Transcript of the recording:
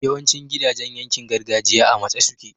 yawancin gidajan yankin gargajiya a matse suke